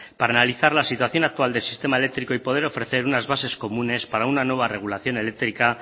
para analizar la situación actual del sistema eléctrico y poder ofrecer unas bases comunes para una nueva regulación eléctrica